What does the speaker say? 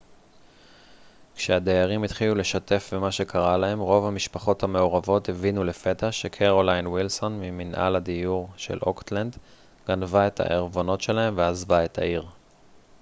כשהדיירים התחילו לשתף במה שקרה להם רוב המשפחות המעורבות הבינו לפתע שקרולין וילסון מממנהל הדיור של אוקטלנד גנבה את הערבונות שלהם ועזבה את העיר